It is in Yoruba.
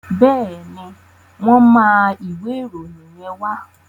Bẹ́ẹ̀ni, wọ́n máa ìwé ìròyìn yẹn wá.